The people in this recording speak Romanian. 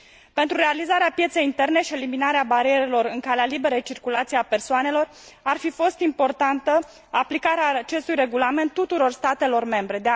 Pentru realizarea pieței interne și eliminarea barierelor în calea liberei circulații a persoanelor, ar fi fost importantă aplicarea acestui regulament tuturor statelor membre.